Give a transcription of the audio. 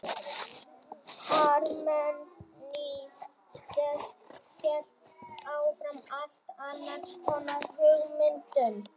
parmenídes hélt fram allt annars konar hugmyndum